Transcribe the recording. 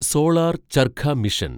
solar charkha mission